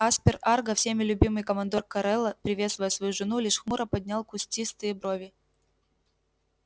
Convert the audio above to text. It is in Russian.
аспер арго всеми любимый командор коралла приветствуя свою жену лишь хмуро поднял кустистые брови